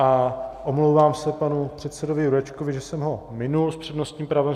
A omlouvám se panu předsedovi Jurečkovi, že jsem ho minul s přednostním právem.